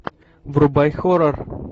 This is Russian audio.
врубай хоррор